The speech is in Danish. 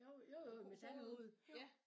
Jo jo jo metalhoved